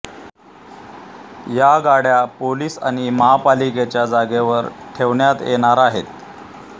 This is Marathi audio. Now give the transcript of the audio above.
या गाड्या पोलीस आणि महापालिकेच्या जागेवर ठेवण्यात येणार आहेत